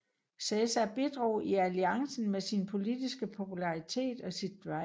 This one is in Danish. Cæsar bidrog i alliancen med sin politiske popularitet og sit drive